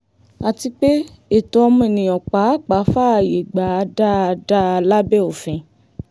àti pé ẹ̀tọ́ ọmọnìyàn pàápàá fààyè gbà á dáadáa lábẹ́ òfin